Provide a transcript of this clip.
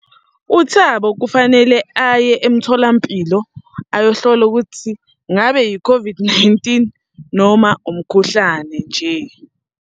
UThabo kufanele aye emtholampilo ayohlola ukuthi, ngabe yi-COVID-19 noma umkhuhlane nje.